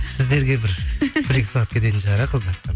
сіздерге бір бір екі сағат кететін шығар иә